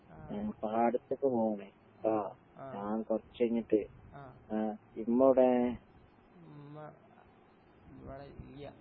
ആഹ് ആഹ് ആഹ് ഉമ്മ ഇവടെല്ല്യ.